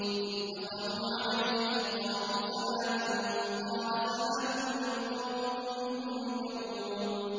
إِذْ دَخَلُوا عَلَيْهِ فَقَالُوا سَلَامًا ۖ قَالَ سَلَامٌ قَوْمٌ مُّنكَرُونَ